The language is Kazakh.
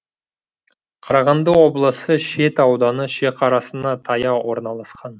қарағанды облысы шет ауданы шекарасына таяу орналасқан